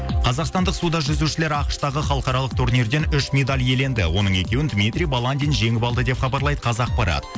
қазақстандық суда жүзушілер ақш тағы халықаралық турнирден үш медаль иеленді оның екеуін дмитрий баландин жеңіп алды деп хабарлайды қазақпарат